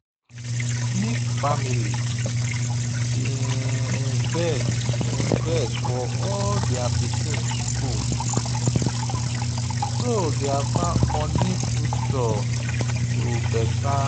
smith family bin invest for all their pikin school so their money future go better.